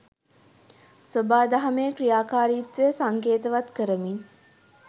සොබාදහමේ ක්‍රියාකාරීත්වය සංකේතවත් කරමින්